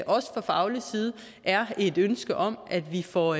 også fra faglig side er et ønske om at vi får